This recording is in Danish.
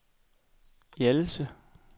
Hjallelse